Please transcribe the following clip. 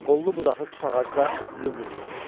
Qollu-budaqlı tut ağacı da lüm-lüt idi.